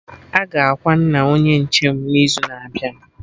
Aga akwa nna Onye nche m n'izu na-abịa